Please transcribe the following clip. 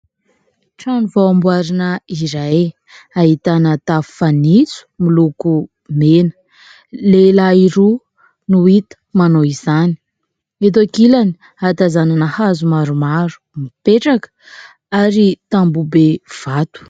trano vao amboarina iray ahitana tafo fanitso miloko mena lehilahy roa no hita manao izany eto an-kilany hatazanana hazo maromaro mipetraka ary tamboho be vato